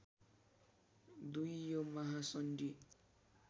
२ यो महासन्धि